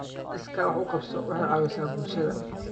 Iskaa wax u qabso waxay caawisaa bulshada.